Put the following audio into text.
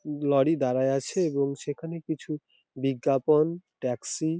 lorry দাঁড়ায়ে আছে এবং সেখানে কিছু বিজ্ঞাপন ট্যাক্সি --